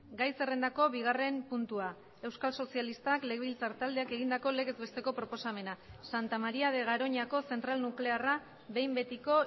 gai zerrendako bigarren puntua euskal sozialistak legebiltzar taldeak egindako legez besteko proposamena santa maría de garoñako zentral nuklearra behin betiko